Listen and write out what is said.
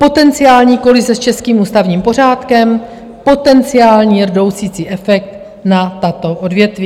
Potenciální kolize s českým ústavním pořádkem, potenciální rdousicí efekt na tato odvětví.